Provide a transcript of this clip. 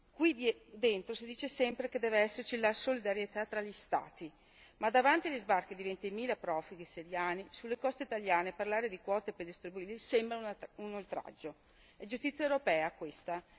Qui dentro si dice sempre che deve esserci la solidarietà tra gli Stati, ma davanti agli sbarchi di ventimila profughi siriani sulle coste italiane parlare di quote per gli stranieri sembra un oltraggio. È giustizia europea questa?